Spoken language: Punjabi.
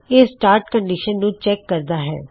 ਇਹ ਸਟਾਟ ਕੰਨਡਿਸ਼ਨ ਨੂੰ ਚੈੱਕ ਕਰਦਾ ਹੈ